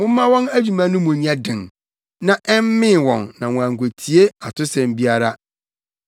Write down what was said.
Momma wɔn adwuma no mu nyɛ den, na ɛmmee wɔn na wɔankotie atosɛm biara.”